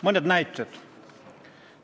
Mõned näited.